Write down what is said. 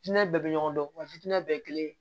Hinɛ bɛɛ bɛ ɲɔgɔn dɔn wa fitinɛ bɛɛ kelen